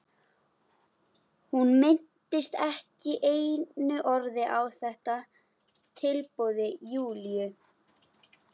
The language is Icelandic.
Hún minntist ekki einu orði á þetta tilboð Júlíu.